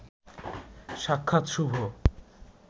সাক্ষাৎ শুভ